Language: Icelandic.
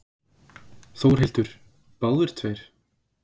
Þórhildur: Báðir tveir?